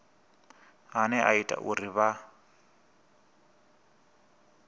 ane a ita uri vha